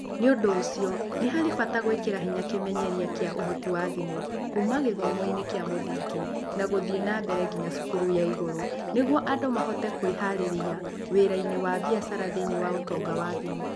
Nĩ ũndũ ũcio, nĩ harĩ bata gwĩkĩra hinya kĩmenyeria kĩa ũhoti wa thimũ kuuma gĩthomo-inĩ kĩa mũthingi na gũthiĩ na mbere nginya cukuru ya igũrũ nĩguo andũ mahote kwĩharĩria wĩra-inĩ wa biacara thĩinĩ wa ũtonga wa thimũ.